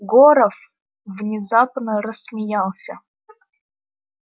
горов внезапно рассмеялся